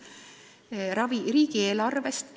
Kas finantseerida riigieelarvest?